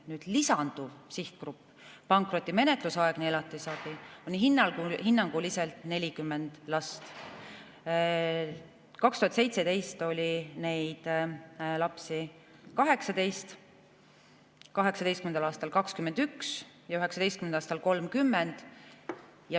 Nüüd lisanduv sihtgrupp, pankrotimenetlusaegse elatisabi on hinnanguliselt 40. Aastal 2017 oli neid lapsi 18, aastal 2018 oli 21 ja 2019. aastal 30.